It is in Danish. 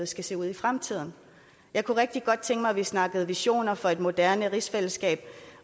skal se ud i fremtiden jeg kunne rigtig godt tænke mig at vi snakkede visioner for et moderne rigsfællesskab